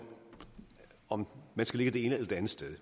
om man skal ligge det ene eller det andet sted